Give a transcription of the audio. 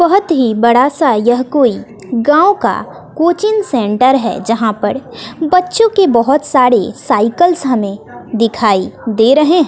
बहोत ही बड़ा सा यह कोई गांव का कोचिंग सेंटर है। जहां पर बच्चों के बहोत सारे साइकिल्स हमें दिखाई दे रहे हैं।